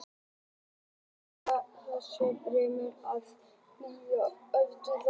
Í dag gilda ákveðnar reglur um það þegar nýju frumefni er gefið nafn.